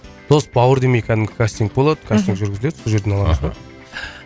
дос бауыр демей кәдімгі кастинг болады мхм кастинг жүргізіледі сол жерден